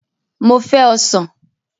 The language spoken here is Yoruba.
Mo fẹ́ Ọsàn